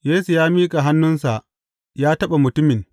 Yesu ya miƙa hannunsa ya taɓa mutumin.